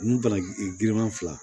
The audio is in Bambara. Ni bana girinman fila